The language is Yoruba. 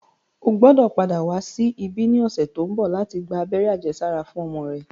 O gbọ́dò padà wá sí ibí ní ọ̀sẹ̀ tó ń bọ̀ láti gba abẹ́rẹ́ àjẹsára fún ọmọ rẹ